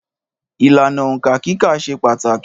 Ìlànà Òǹkà kíkà ṣe pàtàkì